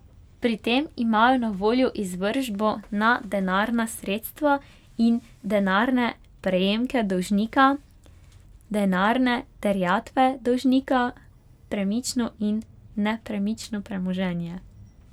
Pri tem imajo na voljo izvršbo na denarna sredstva in denarne prejemke dolžnika, denarne terjatve dolžnika, premično in nepremično premoženje.